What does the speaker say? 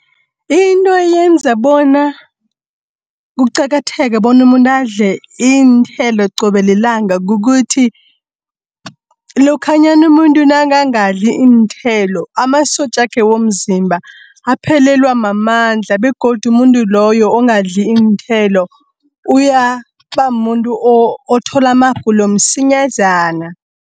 Into yenza bona, kuqakatheke bonumuntu adle iinthelo qobe lilanga kukuthi, lokhanyana umuntu nakangadli iinthelo, amasotjakhe womzimba aphelelwa mamandla, begodu umuntu loyo ongadli iinthelo uyabamuntu othola amagulo msinyazana.